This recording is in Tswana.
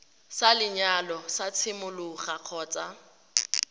sa lenyalo sa tshimologo kgotsa